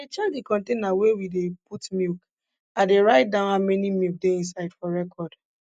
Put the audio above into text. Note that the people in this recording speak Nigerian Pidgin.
i dey check de container wey we dey put milk i dey write down how many milk dey inside for record